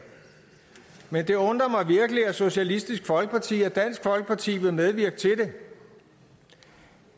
men det undrer mig virkelig at socialistisk folkeparti og dansk folkeparti vil medvirke til det